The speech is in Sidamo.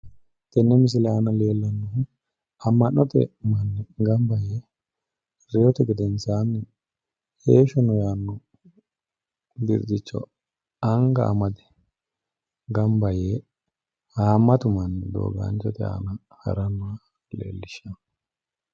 Tenne misile aana leellanohu amaa'note manni gamba yee reyote gedensaanni heeshsho no yaanoha birxicho anga amade ganba yee haamatu haammatu manni dogaanchote aana harannoha leellishshano.